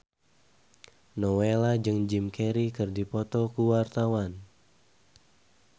Nowela jeung Jim Carey keur dipoto ku wartawan